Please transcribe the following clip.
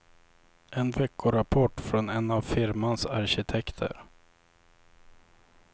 En veckorapport från en av firmans arkitekter.